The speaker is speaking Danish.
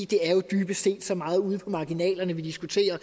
det er dybest set så meget ude på marginalerne vi diskuterer